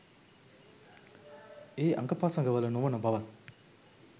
ඒ අඟපසඟවල නොවන බවත්